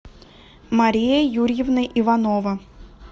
мария юрьевна иванова